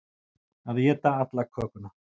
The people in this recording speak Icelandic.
Að éta alla kökuna